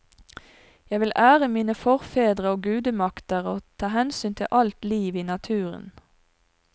Jeg vil ære mine forfedre og gudemakter, og ta hensyn til alt liv i naturen.